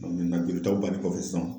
Bɔn mɛntena jolitaw balen kɔfɛ sisan